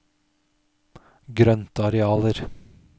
grøntarealer